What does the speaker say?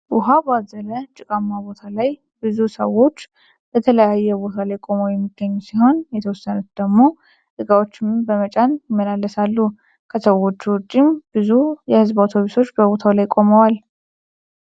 ዉሃ ባዘለ ጭቃማ ቦታ ላይ ብዙ ሰዎች በተለያየ ቦታ ላይ ቆመው የሚገኙ ሲሆን የተወሰኑት ደግሞ እቃዎችን በመጫን ያመላልሳሉ። ከሰዎቹ ዉጪም ብዙ የህዝብ አውቶቢሶች በቦታው ላይ ቆመዋል።